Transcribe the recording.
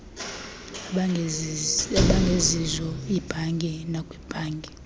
abangezizo iibhanki nakwiibhanki